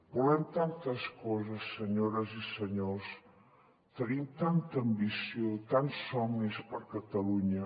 volem tantes coses senyores i senyors tenim tanta ambició tants somnis per a catalunya